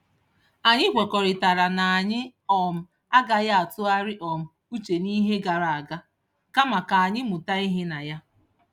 Anyị kwekọrịtara na anyị um agaghị atụgharị um uche n'ihe gara aga, kama ka anyị mụta ihe na ya.